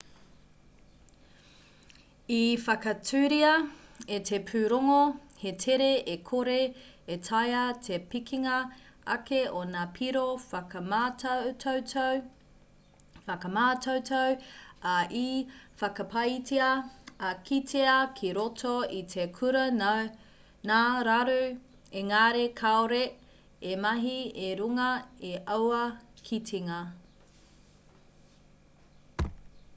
i whakaaturia e te pūrongo he tere e kore e taea te pikinga ake o ngā piro whakamātautau ā i whakapaetia i kitea ki roto i te kura ngā raru engari kāore i mahi i runga i aua kitenga